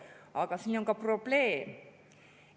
Aga siin on ka probleem.